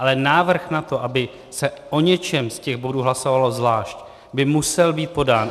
Ale návrh na to, aby se o něčem z těch bodů hlasovalo zvlášť, by musel být podán.